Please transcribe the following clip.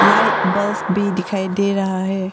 Light bulb भी दिखाई दे रहा है।